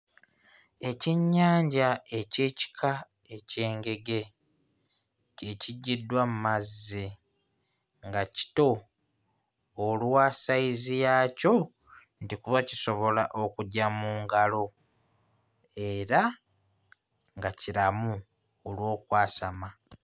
Ekyennyanja eky'ekika eky'engege kye kiggyiddwa mmazzi nga kito olwa ssayizi yaakyo nti kuba kisobola okugya mu ngalo era nga kiramu olw'okwasama.